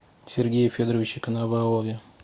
сергее федоровиче коновалове